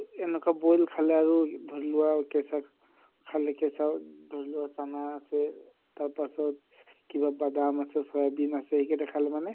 এনকা boil খালে আৰু ধৰি লোৱা কেচা খাকে কেচা ধৰি লোৱা আছে তাৰ পাছত কিবা বাদাম আছে চয়াবিন আছে যেই গেটা খালে মানে